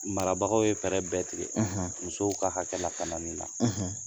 Marabagaw ye fɛɛrɛ bɛɛ tigɛ, musow ka hakɛ lakanani na